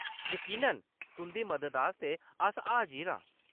यकीनन ! तुंʼदी मदद आस्तै अस हाजिर आं।